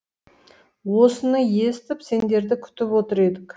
осыны естіп сендерді күтіп отыр едік